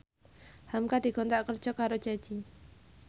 hamka dikontrak kerja karo Ceci